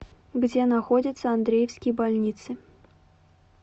где находится андреевские больницы